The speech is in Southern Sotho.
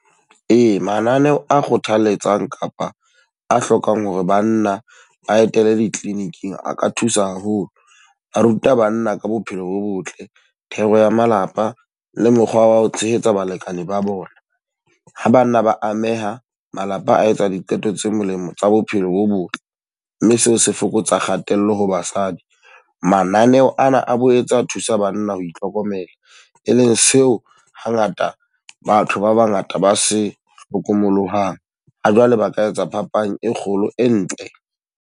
Ee, mananeo a kgothaletsang kapa a hlokang hore banna ba etele di-clinic-ng a ka thusa haholo. Ba ruta banna ka bophelo bo botle, thero ya malapa le mokgwa wa ho tshehetsa balekane ba bona. Ha banna ba ameha, malapa a etsa diqeto tse molemo tsa bophelo bo botle, mme seo se fokotsa kgatello ho basadi. Mananeho ana a bo etsa thusa banna ho itlhokomela. E leng seo ha ngata batho ba ba ngata ba se hlokomollohang, ha jwale ba ka etsa phapang e kgolo e ntle.